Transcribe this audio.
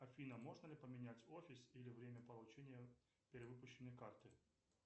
афина можно ли поменять офис или время получения перевыпущенной карты